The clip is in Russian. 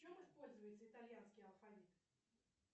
в чем используется итальянский алфавит